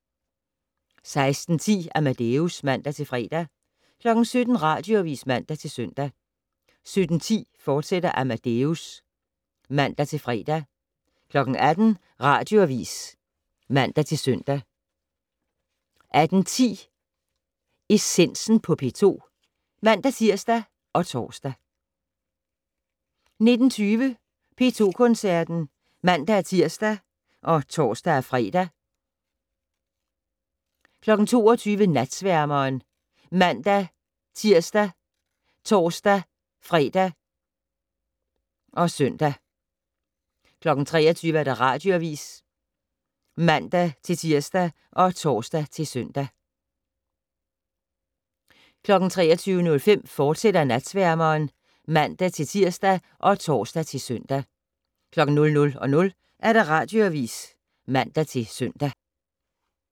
16:10: Amadeus (man-fre) 17:00: Radioavis (man-søn) 17:10: Amadeus, fortsat (man-fre) 18:00: Radioavis (man-søn) 18:10: Essensen på P2 (man-tir og tor) 19:20: P2 Koncerten (man-tir og tor-fre) 22:00: Natsværmeren ( man-tir, tor-fre, -søn) 23:00: Radioavis (man-tir og tor-søn) 23:05: Natsværmeren, fortsat (man-tir og tor-søn) 00:00: Radioavis (man-søn)